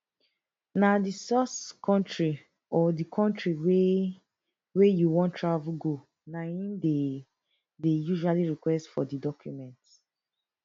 na di source kontri or di kontri wey wey you wan travel go na im dey dey usually request for di document